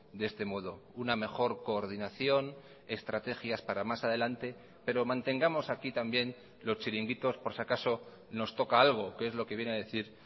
de este modo una mejor coordinación estrategias para más adelante pero mantengamos aquí también los chiringuitos por si acaso nos toca algo que es lo que viene a decir